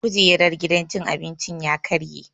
Kujerar gidan cin abincin ya karye